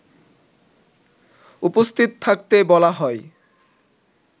উপস্থিত থাকতে বলা হয়